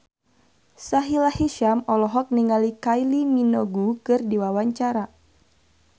Sahila Hisyam olohok ningali Kylie Minogue keur diwawancara